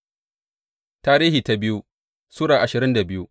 biyu Tarihi Sura ashirin da biyu